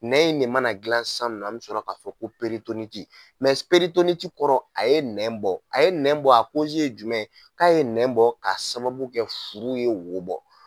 Nɛn in de mana dilan sisan nɔ an bɛ sɔrɔ k'a fɔ ko kɔrɔ a ye nɛn bɔ a ye nɛn bɔ a ye jumɛn ye k'a ye nɛn bɔ k'a sababu kɛ furu ye wo bɔ